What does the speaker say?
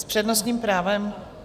S přednostním právem?